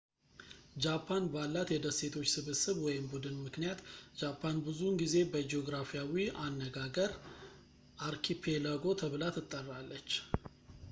ጃፓን ባላት የደሴቶች ስብስብ/ቡድን ምክንያት ጃፓን ብዙውን ጊዜ በጂኦግራፊያዊ አነጋገር አርኪፔላጎ ተብላ ትጠራለች